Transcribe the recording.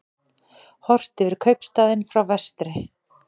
Horft yfir kaupstaðinn frá vestri.